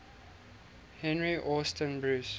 henry austin bruce